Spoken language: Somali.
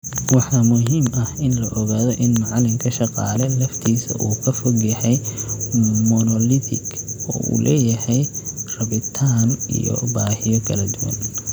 Waxaa muhiim ah in la ogaado in macalinka 'shaqaale' laftiisa uu ka fog yahay monolithic oo uu leeyahay rabitaan iyo baahiyo kala duwan.